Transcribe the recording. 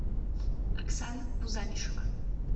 оксана кузамишева